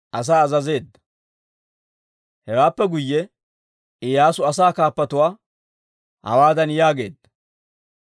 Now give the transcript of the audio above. Hewaappe guyye Iyyaasu asaa kaappatuwaa hawaadan yaageedda;